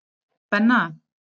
Benna